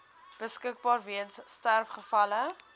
beskikbaar weens sterfgevalle